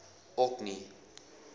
orkney